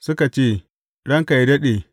Suka ce, Ranka yă daɗe!